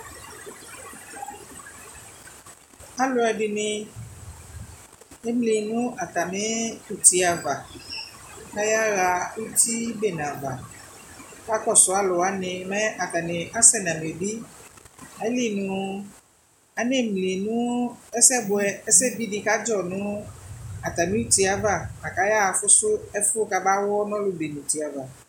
Alʋɛdɩnɩ emli nʋ atamɩ uti ava , k'ayaɣa uti uti bene ava Ɛka kɔsʋ alʋwanɩ mɛ atanɩ asɛ nʋ amebi ; ayili nʋ anemli nʋ nʋ ɛsɛbʋɛ, ɛsɛbidɩ kadzɔ nʋ atamɩ uti ava : la k'ayaɣa fʋsʋ ɛfʋ kama ɣɔ n'ɔlʋben'uti ava